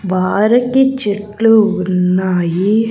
వారికి చెట్లు ఉన్నాయి.